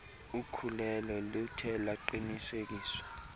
ukhulelo luthe lwaqinisekiswa